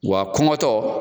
Wa kɔngɔtɔ.